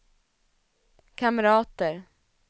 kamrater